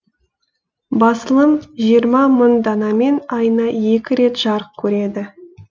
басылым жиырма мың данамен айына екі рет жарық көреді